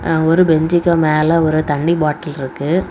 ஒரு பெஞ்சுக்கு மேல ஒரு தண்ணி பாட்டில் இருக்கு.